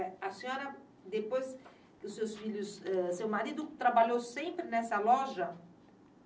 A senhora, depois que os seus filhos eh, seu marido trabalhou sempre nessa loja?